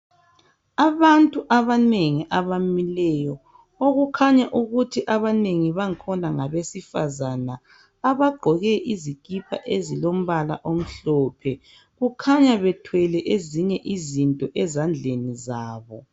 Abantu abanengi abamileyo okukhanya ukuthi abanengi bangikhona ngabesifazana abaqgoke izikipa ezilombala omhlophe kukhanya bethwele ezinye izinto ezandleni zabo